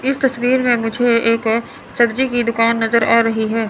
इस तस्वीर में मुझे एक सब्जी की दुकान नजर आ रही है।